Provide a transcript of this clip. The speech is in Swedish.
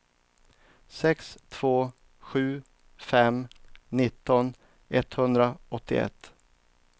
sex två sju fem nitton etthundraåttioett